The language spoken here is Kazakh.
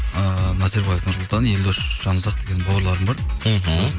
ыыы назарбаев нұрсұлтан елдос жанұзақ деген бауырларым бар ммх